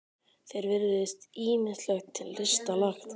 Þér virðist ýmislegt til lista lagt.